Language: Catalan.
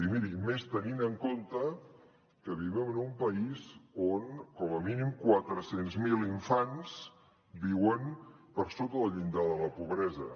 i miri més tenint en compte que vivim en un país on com a mínim quatre cents miler infants viuen per sota del llindar de la pobresa